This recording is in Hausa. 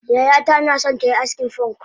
Yayata naso tayi askin fonk